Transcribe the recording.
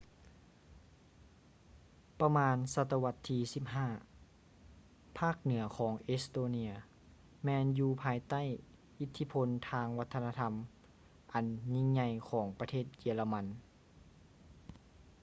ປະມານສະຕະວັດທີ 15 ພາກເໜືອຂອງເອສໂຕເນຍ estonia ແມ່ນຢູ່ພາຍໃຕ້ອິດທິພົນທາງວັດທະນະທຳອັນຍິ່ງໃຫຍ່ຂອງປະເທດເຢຍລະມັນ